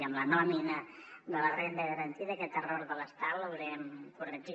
i en la nòmina de la renda garantida aquest error de l’estat l’haurem corregit